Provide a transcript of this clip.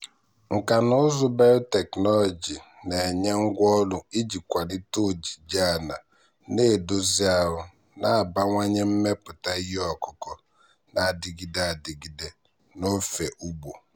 nkà na ụzụ biotechnology na-enye ngwá ọrụ iji kwalite ojiji ala na-edozi ahụ na-abawanye mmepụta ihe ọkụkụ na-adịgide adịgide n'ofe ugbo.